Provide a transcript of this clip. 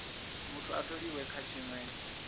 muthu a tholiwe kha tshinwe